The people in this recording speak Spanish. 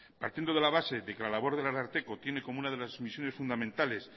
partiendo de la base de que la labor del ararteko tiene como una de las misiones fundamentales